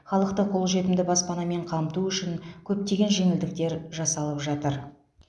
халықты қолжетімді баспанамен қамту үшін көптеген жеңілдіктер жасалып жатыр